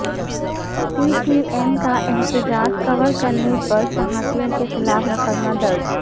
پی T M کا احتجاج cover کرنے پر صحافیوں کے خلاف مقدمہ درج